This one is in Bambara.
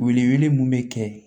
Wele wele mun bɛ kɛ